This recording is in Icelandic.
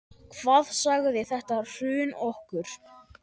Hvað sagði þetta hrun okkur?